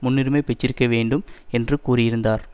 முன்னுரிமை பெற்றிருக்க வேண்டும் என்று கூறியிருந்தார்